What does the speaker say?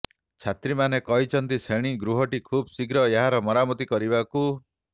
ଛାତ୍ରୀମାନେ କହିଛନ୍ତି ଶ୍ରେଣୀ ଗୃହଟି ଖୁବଶୀଘ୍ର ଏହାର ମରାମତି କରିବାକୁ